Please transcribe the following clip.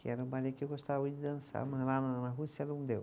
Que era um balê que eu gostava muito de dançar, mas lá na na Rússia não deu.